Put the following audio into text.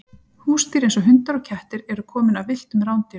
Húsdýr eins og hundar og kettir eru komin af villtum rándýrum.